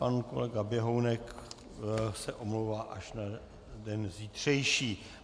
Pan kolega Běhounek se omlouvá až na den zítřejší.